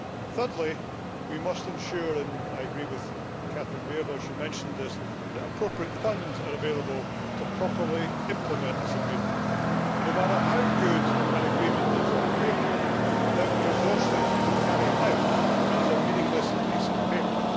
Thirdly, we must ensure and I agree with Catherine Bearder who mentioned this that appropriate funds are available to properly implement this agreement. No matter how good an agreement is on paper, without the resources to carry it out, it is a meaningless piece of paper.